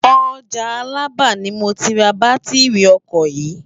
Òjá Alaba ni mó ti rá bàtirí òkò yi